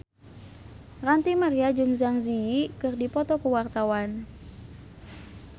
Ranty Maria jeung Zang Zi Yi keur dipoto ku wartawan